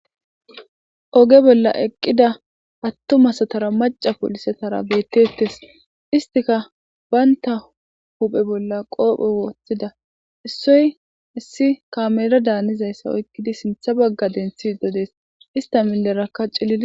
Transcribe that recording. Oge bolla eqqida hattu masatara maca polisetara beettettes istika baynta huphe bolla qoopho wooththida issoy issi kamelo daanizayssa oykkidi sintha bagga denthi dodees ista millerakka cilila.